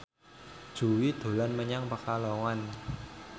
Jui dolan menyang Pekalongan